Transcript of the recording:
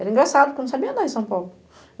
Era engraçado, porque eu não sabia andar em São Paulo.